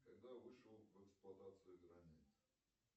когда вышел в эксплуатацию границ